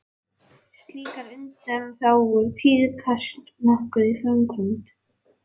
Slíkar undanþágur tíðkast nokkuð í framkvæmd.